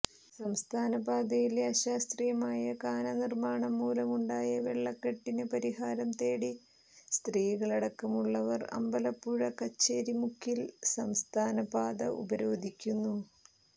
സംസ്ഥാനപാതയിലെ അശാസ്ത്രീയമായ കാനനിർമാണം മൂലമുണ്ടായ വെള്ളക്കെട്ടിന് പരിഹാരം തേടി സ്ത്രീകളടക്കമുള്ളവർ അമ്പലപ്പുഴ കച്ചേരിമുക്കിൽ സംസ്ഥാനപാത ഉപരോധിക്കുന്നു